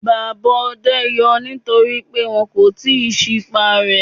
Bàbá ọdẹ ń yọ nítorí pé wọn kò tíì sí pá rẹ.